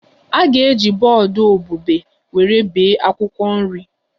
A ga-eji bọọdụ obube were bee akwụkwọ nri